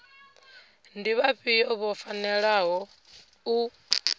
ndi vhafhio vho fanelaho u